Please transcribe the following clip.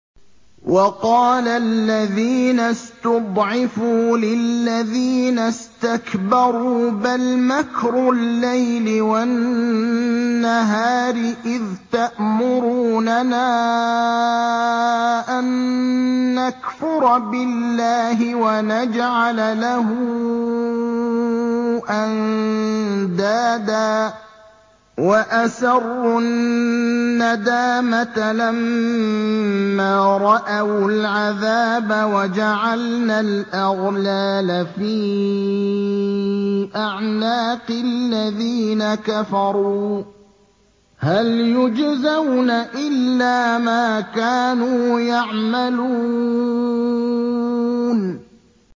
وَقَالَ الَّذِينَ اسْتُضْعِفُوا لِلَّذِينَ اسْتَكْبَرُوا بَلْ مَكْرُ اللَّيْلِ وَالنَّهَارِ إِذْ تَأْمُرُونَنَا أَن نَّكْفُرَ بِاللَّهِ وَنَجْعَلَ لَهُ أَندَادًا ۚ وَأَسَرُّوا النَّدَامَةَ لَمَّا رَأَوُا الْعَذَابَ وَجَعَلْنَا الْأَغْلَالَ فِي أَعْنَاقِ الَّذِينَ كَفَرُوا ۚ هَلْ يُجْزَوْنَ إِلَّا مَا كَانُوا يَعْمَلُونَ